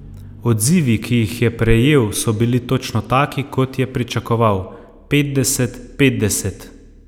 Odzivi, ki jih je prejel, so bili točno taki, kot je pričakoval: 'Petdeset, petdeset.